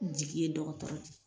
Jigi ye dɔgɔtɔrɔ ye